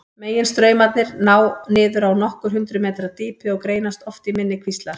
Meginstraumarnir ná niður á nokkur hundruð metra dýpi og greinast oft í minni kvíslar.